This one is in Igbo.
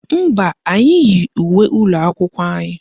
Mba, anyị yi uwe ụlọakwụkwọ anyị